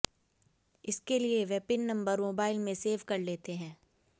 इसके लिए वे पिन नंबर मोबाइल में सेव कर लेते हैं